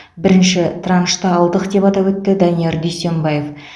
бірінші траншты алдық деп атап өтті данияр дүйсембаев